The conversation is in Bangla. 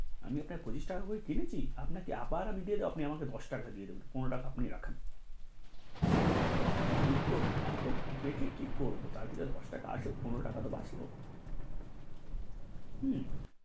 আমি আপনার পঁচিশ টাকা করে কিনেছি আমি আবার আপনাকে দিয়ে দেব আপনি আমাকে দশ টাকা দিয়া দেবেন, পনেরো টাকা আপনি রাখেন কি করবো এতো রেখা কি করবো তার থাকে দশ টাকা তো আসুক, পনেরো টাকা তো বাঁচলো হম